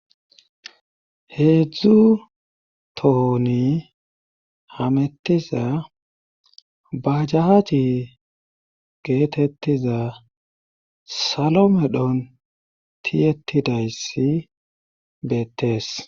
heedzdzu tohoni hamettiza bajaje geetettiza salo medhon tiyettidayssi beettees